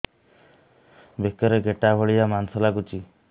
ବେକରେ ଗେଟା ଭଳିଆ ମାଂସ ଲାଗୁଚି